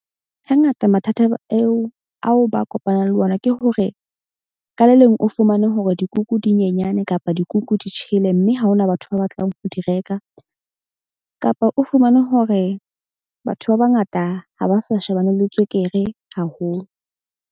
Hangata mathata eo ao ba kopanang le ona ke hore ka le leng o fumane hore dikuku di nyenyane kapa dikuku di tjhele. Mme ha hona batho ba batlang ho di reka kapa o fumane hore batho ba bangata ha ba sa shebane le tswekere haholo.